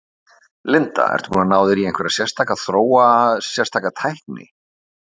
Linda: Ertu búinn að ná þér í einhverja sérstaka, þróa sérstaka tækni?